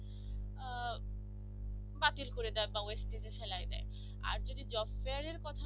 বাতিল করে দেওয়া বা wastage এ ফেলাই দেয় আর যদি job fair এর